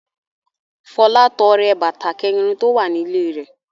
Fọlá tọrẹ bàtà kẹ̀rin tó wà nílé rẹ̀.